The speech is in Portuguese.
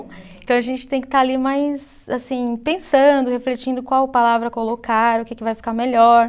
Então a gente tem que estar ali mais assim pensando, refletindo qual palavra colocar, o que que vai ficar melhor.